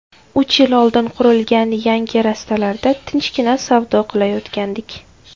Uch yil oldin qurilgan yangi rastalarda tinchgina savdo qilayotgandik.